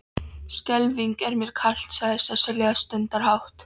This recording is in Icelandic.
Skelfing er mér kalt, sagði Sesselja stundarhátt.